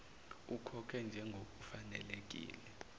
ukhokhe njengoku fanelekile